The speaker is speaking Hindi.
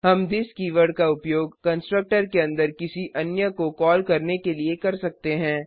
हम थिस कीवर्ड का उपयोग कंस्ट्रक्टर के अंदर किसी अन्य को कॉल करने के लिए कर सकते हैं